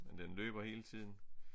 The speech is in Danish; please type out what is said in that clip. Den løber hele tiden